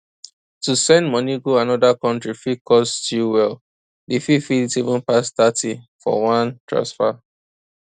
to send moni go another country fit cost you well d fee fit even pass thirty for one transfer